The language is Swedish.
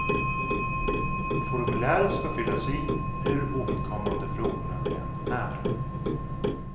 Formuläret ska fyllas i, hur ovidkommande frågorna än är.